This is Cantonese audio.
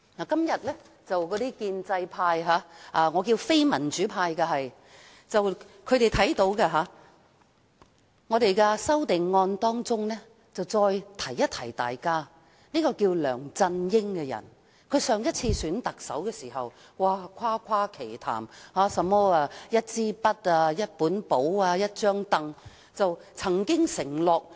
今天，建制派都注意到，我們在修正案中再次提醒大家，梁振英在上次特首選舉時誇誇其談，提到"一支筆、一本簿、一張櫈"，也曾作出承諾。